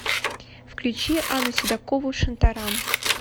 включи анну седокову шантарам